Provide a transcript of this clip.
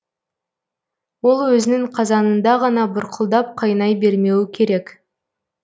ол өзінің қазанында ғана бұрқылдап қайнай бермеуі керек